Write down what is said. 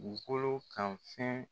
Dugukolo kan fɛn